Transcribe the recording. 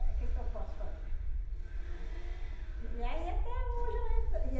que que eu posso fazer? E aí até hoje eu